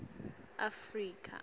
afrika